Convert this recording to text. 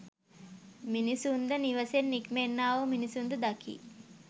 මිනිසුන්ද නිවසෙන් නික්මෙන්නා වූ මිනිසුන්ද දකී.